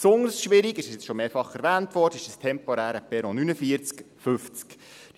Besonders schwierig ist, wie schon mehrfach erwähnt wurde, das temporäre Perron 49/50.